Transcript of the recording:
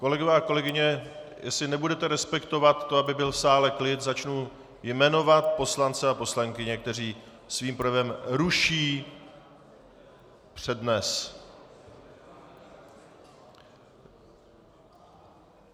Kolegyně a kolegové, jestli nebudete respektovat to, aby byl v sále klid, začnu jmenovat poslance a poslankyně, kteří svým projevem ruší přednes.